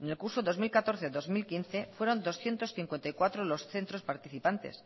en el curso dos mil catorce dos mil quince fueron doscientos cincuenta y cuatro los centros participantes